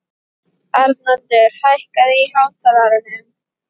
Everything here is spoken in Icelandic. Arnaldur, hækkaðu í hátalaranum.